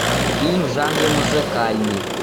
фильм в жанре музыкальный